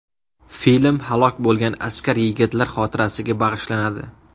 Film halok bo‘lgan askar yigitlar xotirasiga bag‘ishlanadi.